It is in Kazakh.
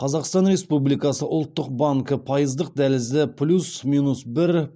қазақстан республикасы ұлттық банкі пайыздық дәлізді плюс минус бір